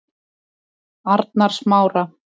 Arnarsmára